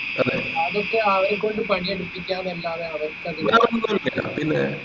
അതൊക്കെ അവരെക്കൊണ്ട് പണി എടുപ്പിക്കാം ന്ന അല്ലാതെ